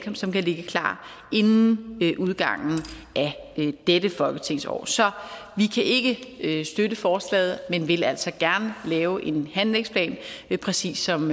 som kan ligge klar inden udgangen af dette folketingsår så vi kan ikke støtte forslaget men vil altså gerne lave en handlingsplan præcis som